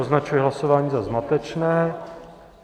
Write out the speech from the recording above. Označuji hlasování za zmatečné.